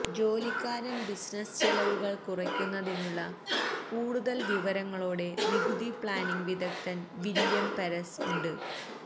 ജോലിക്കാരൻ business ചെലവുകൾ കുറയ്ക്കുന്നതിനുള്ള കൂടുതൽ വിവരങ്ങളോടെ നികുതി പ്ലാനിംഗ് വിദഗ്ധൻ വില്യം പെരസ് ഉണ്ട്